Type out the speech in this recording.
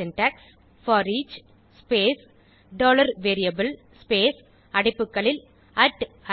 syntax foreach space dollar variable space அடைப்புகளில்